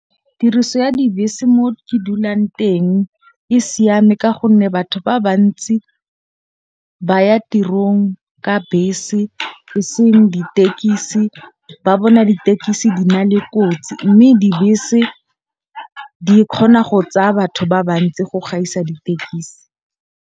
Tiriso ya dibese mo ke dulang teng e siame. Ka gonne batho ba bantsi ba ya tirong ka bese e seng ditekisi. Ba bona ditekisi di na le kotsi. Mme dibese di kgona go tsaya batho ba ba ntsi go gaisa ditekisi.